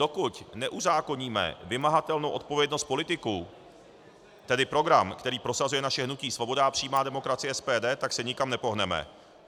Dokud neuzákoníme vymahatelnou odpovědnost politiků, tedy program, který prosazuje naše hnutí Svoboda a přímá demokracie, SPD, tak se nikam nepohneme.